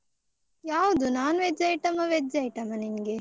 ಯಾವುದು non-veg item ಆ veg item ಆ ನಿನ್ಗೆ?